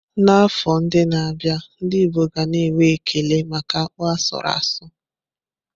N'afọ ndị na-abịa, ndị Igbo ga na-enwe ekele maka akpu asuru asu.